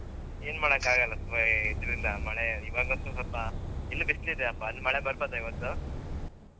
ಏನ್ ಮಾಡಕ್ಕಾಗಲ್ಲ ಅಹ್ ಇದ್ರಿಂದ ಮಳೆ ಇವಾಗಲಂತೂ ಸ್ವಲ್ಪ ಇನ್ನು ಬಿಸ್ಲಿದೆಯಪ್ಪ ಅಲ್ಲಿ ಮಳೆ ಬರ್ಬೋದಾ ಇವತ್ತು?